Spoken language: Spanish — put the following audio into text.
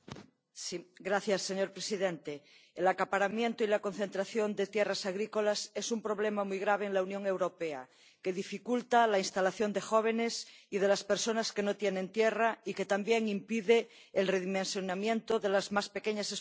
Señor presidente, el acaparamiento y la concentración de tierras agrícolas es un problema muy grave en la Unión Europea que dificulta la instalación de los jóvenes y de las personas que no tienen tierra, y que también impide el redimensionamiento de las explotaciones más pequeñas.